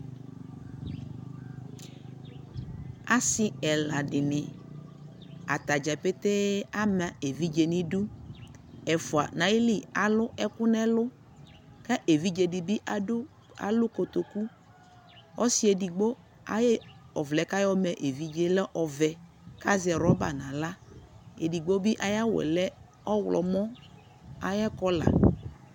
asii ɛla dini, atagya pɛtɛɛ ama ɛvidzɛ nʋ idʋ, ɛƒʋa nʋ ayili alʋ ɛkʋ nʋ ɛlʋ kʋ ɛvidzɛ dibi alʋ kɔtɔkʋ, ɔsii ɛdigbɔ ayi ɔvlɛ kʋ ayɔ ma ɛvidzɛ lɛ ɔvɛ kʋazɛ rubber nʋ ala, ɛdigbɔ bi ayi awʋɛ lɛ ɔwlɔmʋ ayi color